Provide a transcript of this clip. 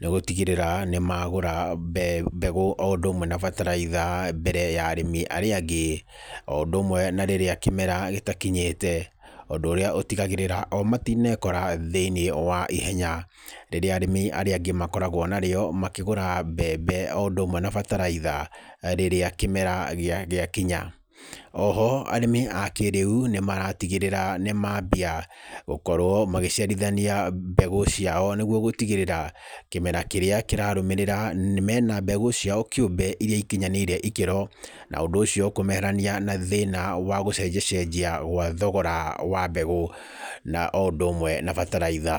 nĩ gũtigĩrĩra nĩ magũra mbegũ, o ũndũ ũmwe na bataraitha mbere ya arĩmi arĩa angĩ, o ũndũ ũmwe na rĩrĩa kĩmera gĩtakinyĩte. Ũndũ ũrĩa ũtigagĩrĩra o matinekora thĩiniĩ wa ihenya, rĩrĩa arĩmi arĩa angĩ makoragwo nario makĩgũra mbembe, o ũndũ ũmwe na bataraitha rĩrĩa kĩmera gĩakinya. Oho arĩmi a kĩrĩu nĩ maratigĩrĩra nĩ mambia gũkorwo magĩciarithania mbegũ ciao nĩguo gũtigĩrĩra, kĩmera kĩrĩa kĩrarũmĩrĩra mena mbegũ ciao kĩumbe irĩa ikinyanĩirie ikĩro. Na ũndũ ũcio kũmeherania na thĩna wa gũcenja cenjia gwa thogora wa mbegũ, na o ũndũ ũmwe na bataraitha.